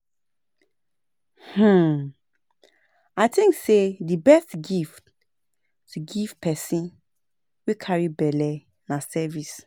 um I think sey di best gift to give pesin wey carry belle na service.